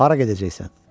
Hara gedəcəksən?